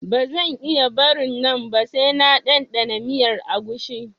Ba zan iya barin nan ba sai na ɗanɗana miyar agushi